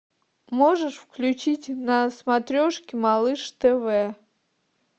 можешь включить на смотрешке малыш тв